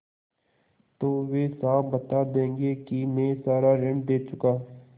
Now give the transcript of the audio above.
तो वे साफ बता देंगे कि मैं सारा ऋण दे चुका